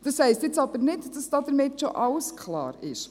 Das heisst jetzt aber nicht, dass damit schon alles klar ist.